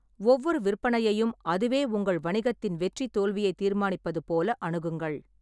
ஒவ்வொரு விற்பனையையும் அதுவே உங்கள் வணிகத்தின் வெற்றி தோல்வியைத் தீர்மானிப்பது போல அணுகுங்கள்.